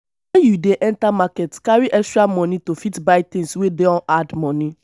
when you dey enter market carry extra money to fit buy things wey don add money